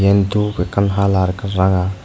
diyen dup ekkan halar ekkan ranga.